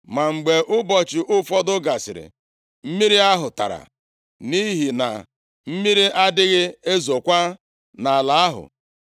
Ma mgbe ụbọchị ụfọdụ gasịrị, mmiri ahụ tara, nʼihi na mmiri adịghị ezokwa nʼala ahụ.